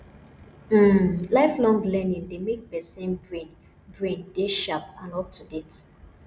um life long learning dey make person brain brain dey sharp and up to date